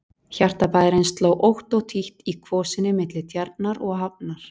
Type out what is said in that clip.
Hjarta bæjarins sló ótt og títt í kvosinni milli Tjarnar og hafnar.